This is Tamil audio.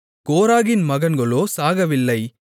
கோராகின் மகன்களோ சாகவில்லை